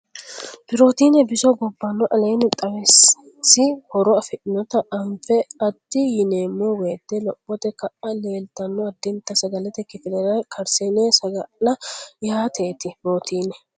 Pirootiine biso gobbanno aleenni xawinsi horo afidhinota anfe addi yineemmo woyte lophote kaa litanno addita sagalete kifile karsiinse saga la yaateeti Pirootiine.